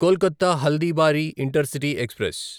Kolkata Haldibari intercity express